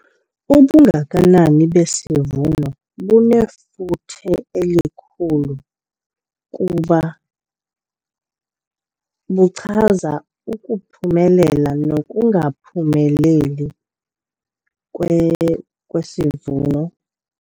Ubungakanani besivuno bunefuthe elikhulu kuba lichaza ukuphumelela nokungaphumeleli kwesivuno.